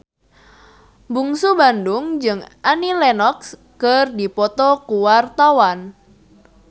Bungsu Bandung jeung Annie Lenox keur dipoto ku wartawan